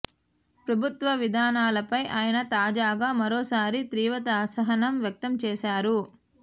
ప్రభుత్వ విధానాలపై ఆయన తాజాగా మరోసారి తీవ్ర అసహనం వ్యక్తం చేశారు